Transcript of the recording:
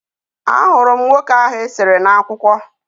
Ahụrụ m nwoke ahụ e sere n'akwụkwọ